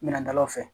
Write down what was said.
Minɛndaw fɛ